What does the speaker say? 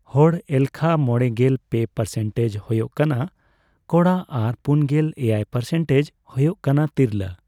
ᱦᱚᱲ ᱮᱞᱠᱷᱟ ᱢᱚᱲᱮᱜᱮᱞ ᱯᱮ ᱯᱟᱨᱥᱮᱱᱴᱮᱡᱽ ᱦᱳᱭᱳᱜ ᱠᱟᱱᱟ ᱠᱚᱲᱟ ᱟᱨ ᱯᱩᱱᱜᱮᱞ ᱮᱭᱟᱭ ᱯᱟᱨᱥᱮᱱᱴᱮᱡᱽ ᱦᱳᱭᱳᱜ ᱠᱟᱱᱟ ᱛᱤᱨᱞᱟᱹ ᱾